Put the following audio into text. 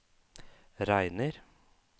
regner